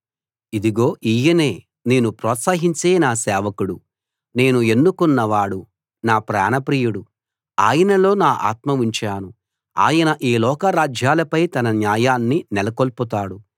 ఇదిగో ఈయనే నేను ప్రోత్సహించే నా సేవకుడు నేను ఎన్నుకున్నవాడు నా ప్రాణప్రియుడు ఆయనలో నా ఆత్మను ఉంచాను ఆయన ఈ లోక రాజ్యాలపై తన న్యాయాన్ని నెలకొల్పుతాడు